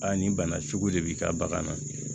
Aa nin bana sugu de b'i ka bagan na